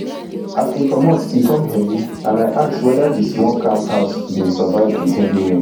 as we comot e come heavy and i ask weda di small camp house bin survive di heavy rain